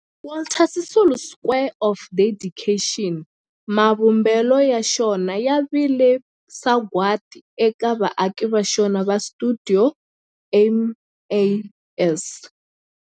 Walter Sisulu Square of Dedication, mavumbelo ya xona ya vile sagwadi eka vaaki va xona va stuidio MAS.